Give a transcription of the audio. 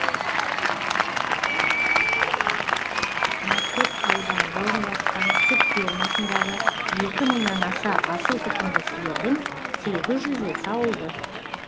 мәртөк ауданында орналасқан сүт фермасындағы екі мыңнан аса асыл тұқымды сиырдың сегіз жүзі сауылды